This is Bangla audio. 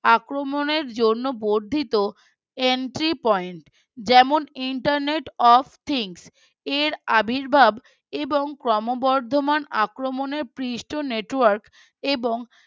আক্রমণের জন্য বর্ধিত Entry point যেমন Intertnet of thinks এর আবির্ভাব এবং ক্রোমবর্ধমান আক্রামনের পৃষ্ঠট Network এবং